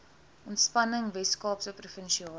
ontspanning weskaapse provinsiale